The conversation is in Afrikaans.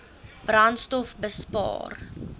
brandstofbespaar